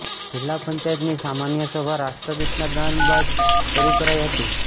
જિલ્લા પંચાયતની સામાન્યસભા રાષ્ટ્રગીતના ગાન બાદ શરુ કરાઇ હતી